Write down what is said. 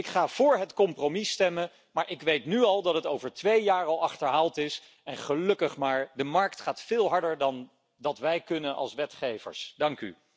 Ik ga voor het compromis stemmen, maar ik weet nu al dat het over twee jaar al achterhaald is en gelukkig maar de markt gaat veel harder dan wij als wetgevers kunnen.